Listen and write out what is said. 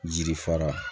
Jiri fara